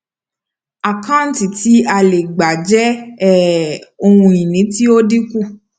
àkáǹtí ti a le gbà jẹ um ohun ìní tí o ń dínkù